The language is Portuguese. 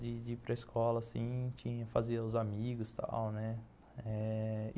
De de ir para escola assim, tinha, fazia os amigos e tal, né? eh...